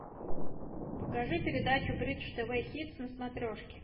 покажи передачу бридж тв хитс на смотрешке